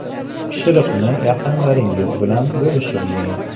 Pishiriqni yaqinlaringiz bilan bo‘lishib yeng.